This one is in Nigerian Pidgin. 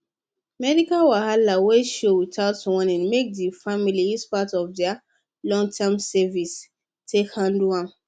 medical wahala wey show without warning make the family use part of their longterm savings take handle am